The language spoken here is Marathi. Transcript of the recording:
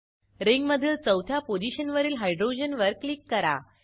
रिंगमधील चौथ्या पोझिशनवरील हायड्रोजन वर क्लिक करा